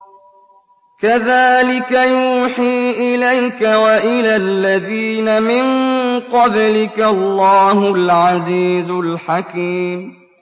كَذَٰلِكَ يُوحِي إِلَيْكَ وَإِلَى الَّذِينَ مِن قَبْلِكَ اللَّهُ الْعَزِيزُ الْحَكِيمُ